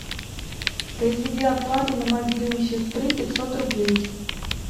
произведи оплату на мобильный сестры пятьсот рублей